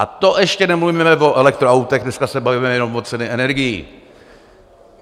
A to ještě nemluvíme o elektroautech, dneska se bavíme jenom o ceně energií.